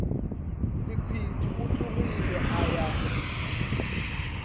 sekhwiti o tlogile a ya